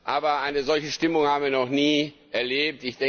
Aber eine solche Stimmung haben wir noch nie erlebt.